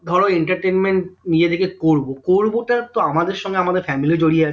ধরো entertainment নিজে থেকে করব করব টা তো আমাদের সঙ্গে আমাদের family জড়িয়ে আছে